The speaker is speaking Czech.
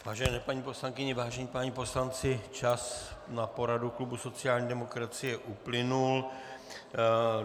Vážené paní poslankyně, vážení páni poslanci, čas na poradu klubu sociální demokracie uplynul.